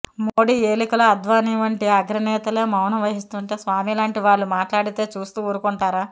మోడీ ఏలికలో అద్వానీ వంటి అగ్రనేతలే మౌనం వహిస్తుంటే స్వామి లాంటి వాళ్ళు మాట్లాడితే చూస్తూ ఊరుకుంటారా